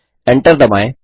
Enter दबाएँ